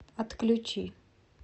отключи